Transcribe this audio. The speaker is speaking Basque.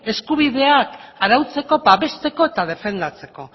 eskubideak arautzeko babesteko eta defendatzeko